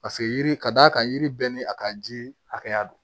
Paseke yiri ka d'a kan yiri bɛɛ ni a ka ji hakɛya don